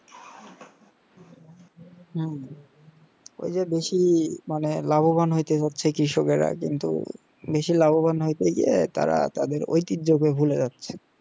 হম ওই যে বেশি মানে লাভবান হতে যাচ্ছে কৃষককের কিন্তু বেশি লাভবান হইতে গিয়ে তারা তাদের ঐতিহ্য কে ভুলে যাচ্ছে